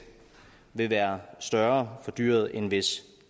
vil være større for dyret end hvis